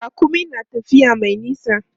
Raƙumi na tafiya mai nisa.